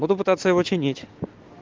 буду пытаться его чинить